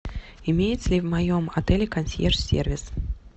имеется ли в моем отеле консьерж сервис